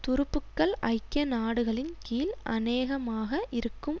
துருப்புக்கள் ஐக்கிய நாடுகளின் கீழ் அநேகமாக இருக்கும்